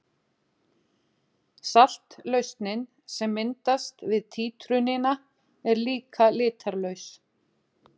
Saltlausnin sem myndast við títrunina er líka litarlaus.